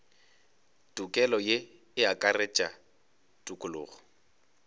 tokelo ye e akaretša tokologo